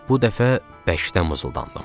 Bu dəfə bərkdən mızıldandım.